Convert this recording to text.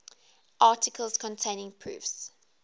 articles containing proofs